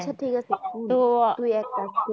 আচ্ছা ঠিক আছে তুই এক কাজ করবি।